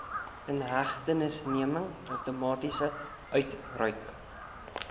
inhegtenisneming outomaties uitgereik